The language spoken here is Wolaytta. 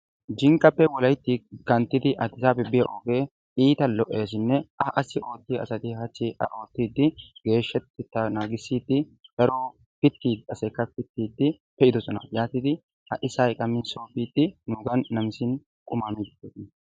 Jinkkappe wolaytti kanttidi adisaabi biya ogee iita lo'esine a qassi oottiya asati hachchi a oottiiddi geeshshateta naagissiidi daro pittiya asaykka pittiidi pe"idosona. yaatidi ha"i sa'ay qammin so biidi nuugan namisin qumaa miiddi de"osona.